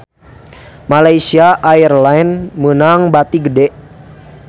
Malaysia Airlines meunang bati gede